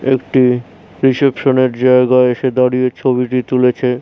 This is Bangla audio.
একটি রিসেপশন -এর জায়গায় এসে দাঁড়িয়ে ছবিটি তুলেছে।